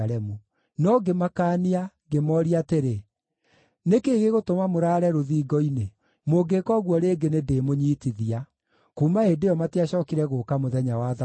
No ngĩmakaania ngĩmooria atĩrĩ, “Nĩ kĩĩ gĩgũtũma mũraare rũthingo-inĩ? Mũngĩĩka ũguo rĩngĩ nĩndĩmũnyiitithia.” Kuuma hĩndĩ ĩyo matiacookire gũũka mũthenya wa Thabatũ.